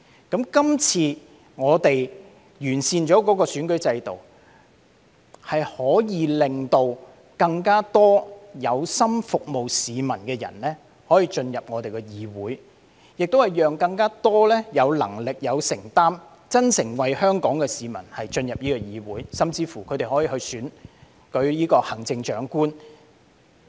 今次完善了選舉制度，可以令更多有心服務市民的人進入議會，亦讓更多有能力、有承擔、真誠為香港市民的人進入議會，他們甚至可以競選行政長官。